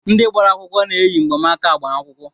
Ndị gbara akwụkwọ na-eyi mgbanaaka agbamakwụkwọ.